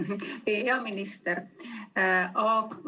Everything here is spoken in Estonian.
Aitäh, hea minister!